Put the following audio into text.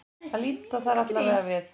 Að líta þar allavega við.